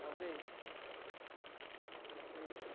Talvez. Talvez.